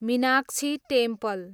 Meenakshi temple